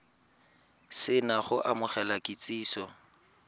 se na go amogela kitsiso